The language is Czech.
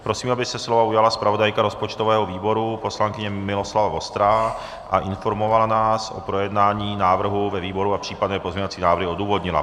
Prosím, aby se slova ujala zpravodajka rozpočtového výboru poslankyně Miloslava Vostrá a informovala nás o projednání návrhu ve výboru a případné pozměňovací návrhy odůvodnila.